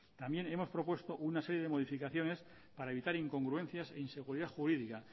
también hemos propuesto una serie de modificaciones para evitar incongruencias e inseguridad jurídica